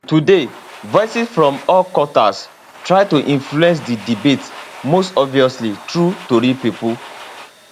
today voices from all quarters try to influence di debate most obviously through tori pipo